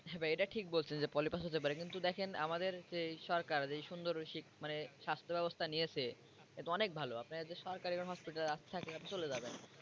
হ্যা ভাই এটা ঠিক বলছে যে পলিপাস হতে পারে কিন্তু দেখেন আমাদের যেই সরকার যেই সুন্দর মানে স্বাস্থ্য ব্যবস্থা নিয়েছে এতো অনেক ভালো আপনের যে সরকারি hospital আছে আপনি চলে যাবেন।